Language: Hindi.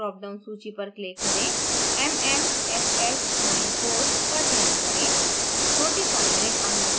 force field drop down सूची पर click करें mmff94का चयन करें